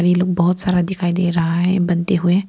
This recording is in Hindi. ये लोग बहुत सारा दिखाई दे रहा है बनते हुए।